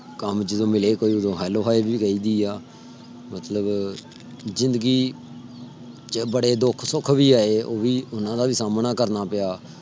ਮਤਲਬ ਜ਼ਿੰਦਗੀ ਚ ਬੜੇ ਦੁੱਖ ਸੁਖ ਵੀ ਆਏ ਉਹ ਵੀ ਓਹਨਾ ਦਾ ਵੀ ਸਾਮਣਾ ਕਰਨਾ ਪਿਆ।